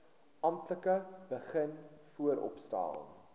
amptelik begin vooropstel